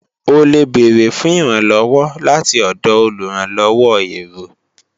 O lè bèrè fún ìrànlọ́wọ́ láti ọ̀dọ̀ olùrànlọ́wọ́ èrò